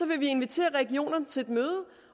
vil vi invitere regionerne til et møde